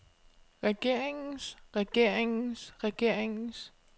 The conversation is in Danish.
regeringens regeringens regeringens